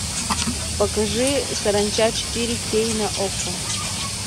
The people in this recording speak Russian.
покажи саранча четыре кей на окко